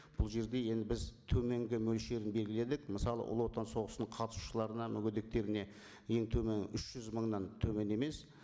бұл жерде енді біз төменгі мөлшерін белгіледік мысалы ұлы отан соғысының қатысушыларына мүгедектеріне ең төмен үш жүз мыңнан төмен емес